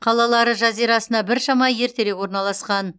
қалалары жазирасына біршама ертерек орналасқан